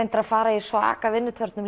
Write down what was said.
að fara í svaka vinnutörn